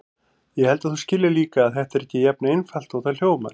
Ég held að þú skiljir líka að þetta er ekki jafn einfalt og það hljómar.